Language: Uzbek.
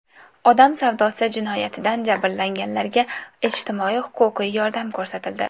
Odam savdosi jinoyatidan jabrlanganlarga ijtimoiy-huquqiy yordam ko‘rsatildi.